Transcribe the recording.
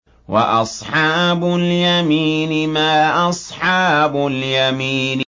وَأَصْحَابُ الْيَمِينِ مَا أَصْحَابُ الْيَمِينِ